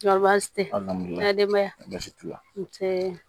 tɛmɛnen i ka denbaya basi t'u la n tɛ